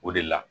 O de la